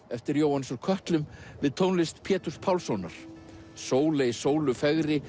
eftir Jóhannes úr kötlum við tónlist Péturs Pálssonar Sóley Sóley